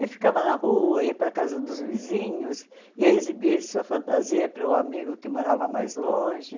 E ficava na rua, ia para a casa dos vizinhos, ia exibir sua fantasia para o amigo que morava mais longe.